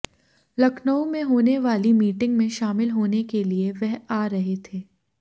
लखनऊ में होने वाली मीटिंग में शामिल होने के लिए वह आ रहे थे